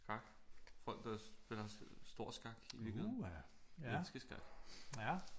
Skak folk der spiller stor skak i virkeligheden menneske skak